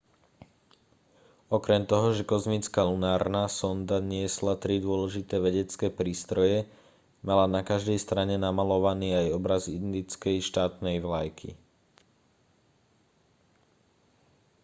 okrem toho že kozmická lunárna sonda niesla tri dôležité vedecké prístroje mala na každej strane namaľovaný aj obraz indickej štátnej vlajky